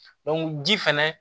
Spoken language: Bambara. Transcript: ji fɛnɛ